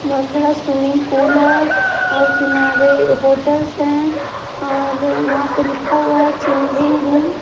बहुत बड़ा swimming pool है और किनारे होटल्स हैं और वहां पे लिखा हुआ है 'चेंजिंग रूम'।